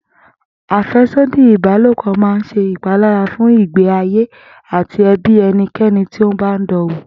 Àfé̩sódì ìbálòpò máa ń s̩e ìpalára fún ìgbé ayé àti e̩bí e̩niké̩ni tó bá ń dan wò